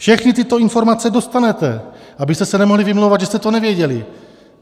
Všechny tyto informace dostanete, abyste se nemohli vymlouvat, že jste to nevěděli.